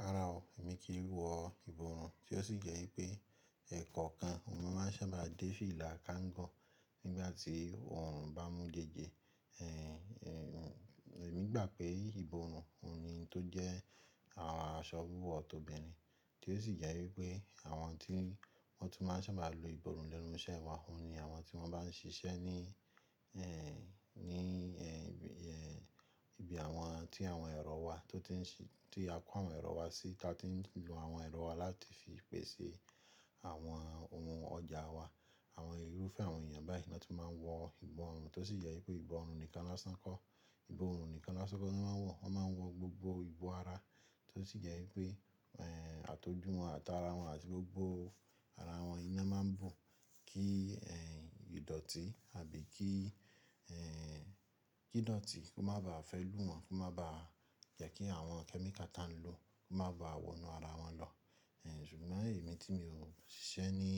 Rárá o, èmi kìí wọ ìborùn tí ó sì jẹ́ wípé ẹ̀kan kan, ni mon máa ń sábàá dé fílà káǹgọ̀ nígbàtí òrùn bá mú jẹ́ẹ́jẹ́. Ehn, ehn, èmi gbà pé ìborùn òun ni tó jẹ́ àwọn aṣọ wíwọ̀ tọ́bìnrin, tí ó sì jẹ́ wípé àwọn tí wọ́n tún máa ń sábàá lo ìborùn lẹ́nu iṣẹ́ wọn, òun ni àwọn tí wọ́n bá ń ṣiṣẹ́ ní, ehn, ní, ehn, ehn, ibi àwọn tí àwọn ẹ̀rọ wà tí ó ti ń ṣí, tí a kó àwọn ẹ̀rọ wá sí, tí a ti ń lo àwọn ẹ̀rọ wá láti fi pèsè àwọn ohun ọjà wa. Àwọn irúfẹ́ àwọn èèyàn báyìí ni lo tún máa ń wọ ìborùn, tó sì jẹ́ wípé ìborùn nìkan lasáǹ kọ́, ìborùn nìkan lasáǹ kọ́ ni wọ́n máa ń wọ, wọ́n máa ń wọ gbogbo ìbò ara, tí ó sì jẹ́ wípé, ehn, àtọjú wọn àti ara wọn àti gbogbo ara wọn iná má ń bùn kí, ehn, ìdọ̀tí àbí kí, ehn, kí idọ̀tí kó má ba fẹ́ lù wọ́n, kó má ba jẹ́ kí àwọn kẹ́míkà ta ń lò kó má ba wọnú ara wọn lọ. Ehn, ṣùgbọ́n èmi tí mi ò ń ṣiṣẹ́ ní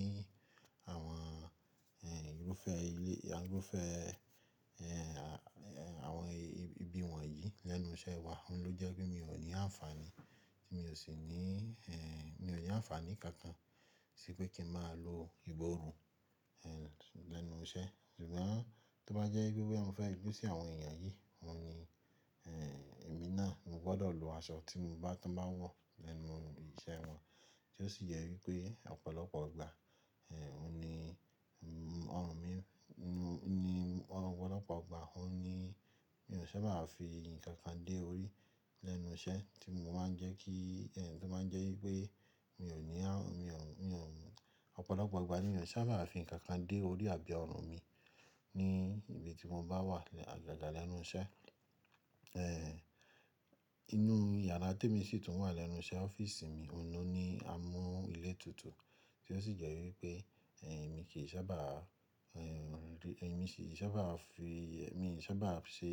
àwọn, ehn, irúfẹ́ ilé, irúfẹ́, ehn, àwọn ibi wọ̀nyí lẹ́nu iṣẹ́ wa, òun ló jẹ́ wípé mi ò ní àǹfàní, tí mi ò sì ní, ehn, mi ò ní àǹfàní kankan sí pé kí ń máa lo ìborùn, ehn, lẹ́nu iṣẹ́. Ṣùgbọ́n tó bá jẹ́ wípé mo fẹ́ yojú sí àwọn èèyàn yìí, òun ni, ehn, èmi náà ni mo gbọ́dọ̀ lo aṣọ tí mo bá, tó bá wọ̀ lẹ́nu ìṣe wọn. Tí ó sì jẹ́ wípé ọ̀pọ̀lọpọ̀ igbà, ehn, òun ni ọrùn mi ni ọ̀pọ̀lọpọ̀ ọgbà, òun ni mi ò ṣe máà fi ǹkan kan dé orí lẹ́nu iṣẹ́ tí mo máa ń jẹ́ kí, tí ó máa ń jẹ́ wípé mi ò ní àǹ, mi ò ń, mi ò ń, ọ̀pọ̀lọpọ̀ ọgbà ní mi ò ṣe máà fi ǹkankan dé orí àbí ọrùn mi ní ibi tí mo bá wà agaga lẹ́nu iṣẹ́. Ehn, inú yàrá tí èmi sì tún wà lẹ́nu iṣẹ́ ọ́fíìsì mi, òun ló ní amú ilẹ̀ tuntun tí ó sì jẹ́ wípé, ehn, èmi kì í ṣe máà bá, ehn, èmi kì í ṣe máà bá fi, èmi kì í ṣe máà bá ṣe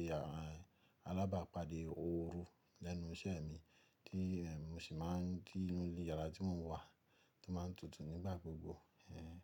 alábàápàdé òru lẹ́nu iṣẹ́ mi tí mo sì máa ń, tí inú yàrá tí mò ń wà tó máa ń tutù nígbà gbogbo. Ehn.